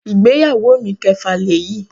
Ìgbéyàwó mi ìkẹfà lèyí.